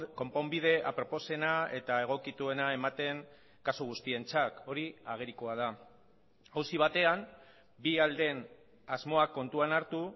konponbide aproposena eta egokituena ematen kasu guztientzat hori agerikoa da auzi batean bi aldeen asmoa kontuan hartu